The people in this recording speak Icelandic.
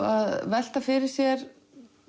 að velta fyrir sér